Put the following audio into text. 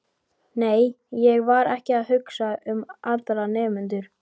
Nei, ég var ekki að hugsa um aðra nemendur.